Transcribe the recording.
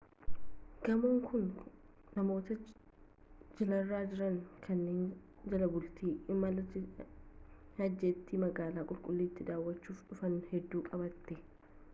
gamoon kun namoota jilarra jiran kanneen jalbultii imala hajjiitti magaalaa qulqullittii daawachuuf dhufan hedduu qabate